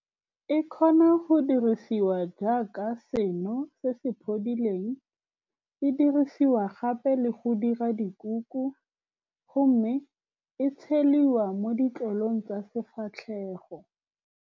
E kgona go dirisiwa jaaka seno se se phodileng. E dirisiwa gape le go dira dikuku, go mme e tshediwa mo ditlolong tsa sefatlhego.